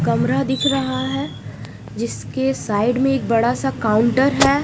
कमरा दिख रहा है जिसके साइड मे एक बड़ा सा काउन्टर है।